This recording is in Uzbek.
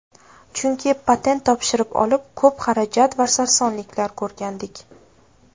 Chunki patent topshirib olib, ko‘p xarajat va sarsonliklar ko‘rgandik.